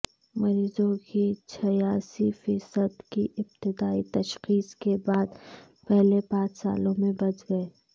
مریضوں کی چھیاسی فیصد کی ابتدائی تشخیص کے بعد پہلے پانچ سالوں میں بچ گئے